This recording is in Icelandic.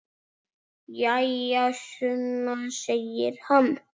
Jæja, Sunna, segir hann.